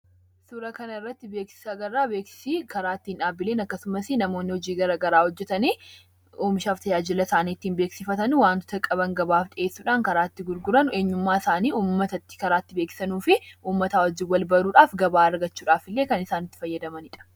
Suura kana irratti beeksisa agarra. Beeksisi karaa itti dhaabbileen akkasumas, namoonni hojii garaa garaa hojjetan oomishaa fi tajaajila isaanii beeksifatanidha. Wantoota qabanis gabaaf dhiyeessadhuun karaa itti gurgurani; eenyummaa isaaniis karaa itti uummatatti beeksisanii fi uummataa wajjin wal baruudhaan gabaa argachuudhaaf isaan gargaarudha.